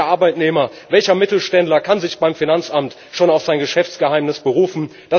Welcher Arbeitnehmer, welcher Mittelständler kann sich beim Finanzamt schon auf sein Geschäftsgeheimnis berufen?